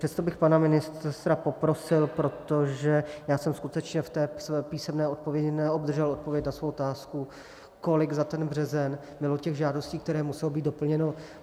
Přesto bych pana ministra poprosil, protože já jsem skutečně v té písemné odpovědi neobdržel odpověď na svou otázku, kolik za ten březen bylo těch žádostí, které musely být doplněny.